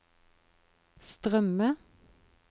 strømme